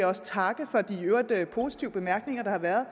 også takke for de i øvrigt positive bemærkninger der har været